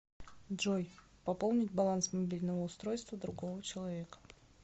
джой пополнить баланс мобильного устройства другого человека